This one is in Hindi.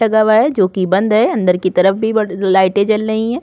लगा हुआ है जो कि बंद है अंदर की तरफ भी लाइटे जल रही है।